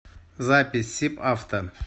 запись сибавто